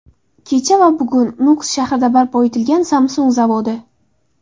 Kecha va bugun: Nukus shahrida barpo etilgan Samsung zavodi .